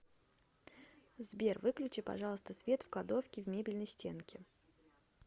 сбер выключи пожалуйста свет в кладовке в мебельной стенке